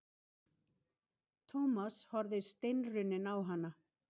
Thomas horfði steinrunninn á hana.